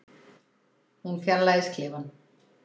Hún fjarlægist klefann.